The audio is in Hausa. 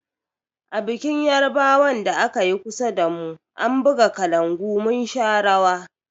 A bikin yarbawan da akayi kusa damu, an buga kalangu mun sha rawa.